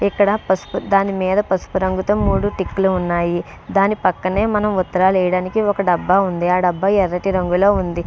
ఇక్కడ పసుపు దాని మీద పసుపు రంగు తో మూడు టిక్కులు ఉన్నాయి దాని పక్కనే మనం ఉత్తరాలు వేయటానికి ఒక డబ్బా ఉంది ఆ డబ్బా ఎర్రటి రంగు లో ఉంది .